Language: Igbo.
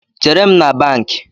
Chere m na bankị